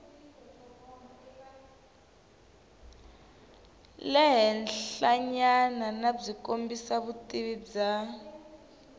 le henhlanyanabyi kombisa vutivi bya